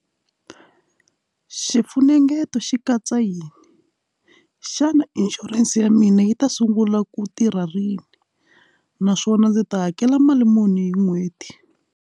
Xifunengeto xi katsa yini xana inshurense ya mina yi ta sungula ku tirha rini naswona ndzi ta hakela mali muni hi n'hweti.